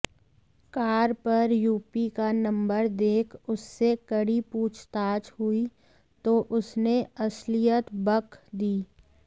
car पर UP का number देख उससे कड़ी पूछताछ हुई तो उसने असलियत बक दी